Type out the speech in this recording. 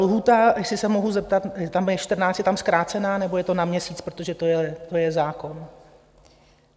Lhůta, jestli se mohu zeptat, tam je 14, je tam zkrácená, nebo je to na měsíc, protože to je zákon?